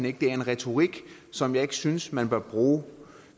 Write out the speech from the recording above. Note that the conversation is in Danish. ikke det er en retorik som jeg ikke synes man bør bruge